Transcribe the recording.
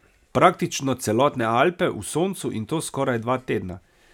Praktično celotne Alpe v soncu in to skoraj dva tedna.